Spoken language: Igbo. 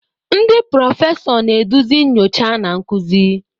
Ndị prọfesọ, na-eduzi nyocha na nkuzi.